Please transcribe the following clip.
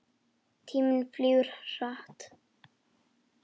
Tíminn flýgur hratt.